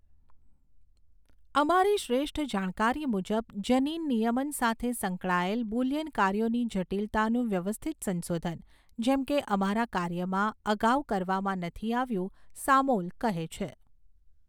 અમારી શ્રેષ્ઠ જાણકારી મુજબ, જનીન નિયમન સાથે સંકળાયેલ બુલિયન કાર્યોની જટિલતાનું વ્યવસ્થિત સંશોધન, જેમ કે અમારા કાર્યમાં, અગાઉ કરવામાં નથી આવ્યું, સામૉલ કહે છે.